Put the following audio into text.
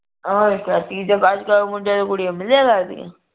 ਹੋਰ ਕਿਆ ਤੀਜਾ ਉਝ ਚਾਹੇ ਕੁੜੀਆਂ ਮਿਲੇਗਾ ਨੀ।